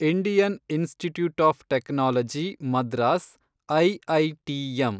Indian institute of technology Madras, IITM